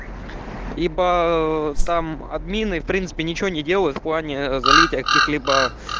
ибо там админы в принципе ничего не делают в плане залить о каких-либо